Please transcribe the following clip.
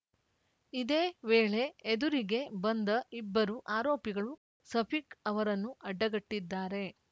ಇದೇ ವೇಳೆ ಎದುರಿಗೆ ಬಂದ ಇಬ್ಬರು ಆರೋಪಿಗಳು ಸಫಿಕ್‌ ಅವರನ್ನು ಅಡ್ಡಗಟ್ಟಿದ್ದಾರೆ